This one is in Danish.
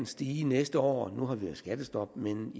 stige næste år nu har vi jo skattestop men